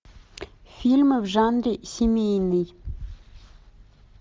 фильмы в жанре семейный